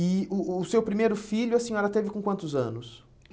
E o o seu primeiro filho, a senhora teve com quantos anos?